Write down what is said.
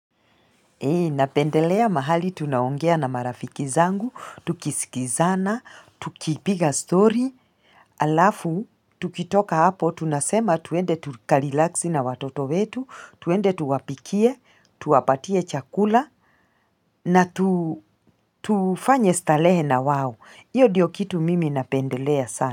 Eeh, napendelea mahali tunaongea na marafiki zangu, tukisikizana, tukipiga story, halafu, tukitoka hapo, tunasema tuende tuka relax na watoto wetu, tuende tuwapikie, tuwapatie chakula, na tufanye starehe na wao, hiyo ndiyo kitu mimi napendelea sana.